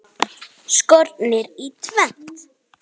Skornir í tvennt.